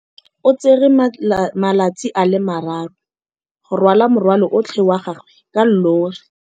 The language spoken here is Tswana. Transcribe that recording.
O tsere malatsi a le marraro go rwala morwalo otlhe wa gagwe ka llori.